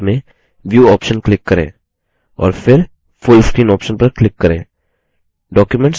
menu bar में view option click करें और फिर full screen option पर click करें